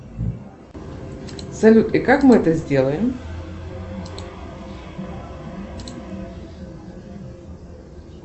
салют и как мы это сделаем